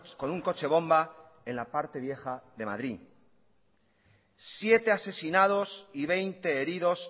con un coche bomba en la parte vieja de madrid siete asesinados y veinte heridos